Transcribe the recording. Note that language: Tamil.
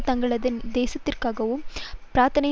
தங்களது நேசத்திற்குரியவர்களுக்காக பிரார்த்தனை